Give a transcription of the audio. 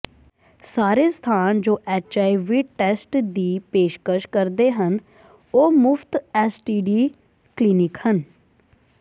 ਸਾਰੇ ਸਥਾਨ ਜੋ ਐੱਚਆਈਵੀ ਟੈਸਟ ਦੀ ਪੇਸ਼ਕਸ਼ ਕਰਦੇ ਹਨ ਉਹ ਮੁਫ਼ਤ ਐਸਟੀਡੀ ਕਲੀਨਿਕ ਹਨ